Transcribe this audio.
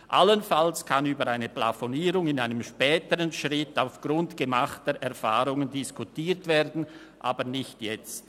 Allenfalls kann über eine Plafonierung in einem späteren Schritt aufgrund gemachter Erfahrungen diskutiert werden, aber nicht jetzt.